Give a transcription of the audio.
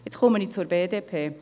Jetzt komme ich zur BDP: